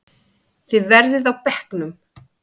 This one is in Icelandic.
Þið verðið á bekknum!